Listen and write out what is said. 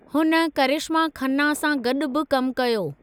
हुन करिश्मा खन्ना सां गॾु बि कमु कयो।